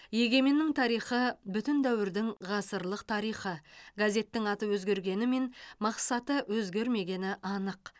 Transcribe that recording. егеменнің тарихы бүтін дәуірдің ғасырлық тарихы газеттің аты өзгергенімен мақсаты өзгермегені анық